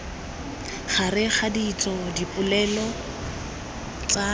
gareg ga ditso dipoelo tsa